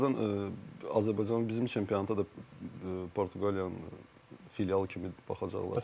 Birazdan Azərbaycan bizim çempionata da Portuqaliyanın filialı kimi baxacaqlar.